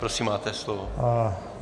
Prosím máte slovo.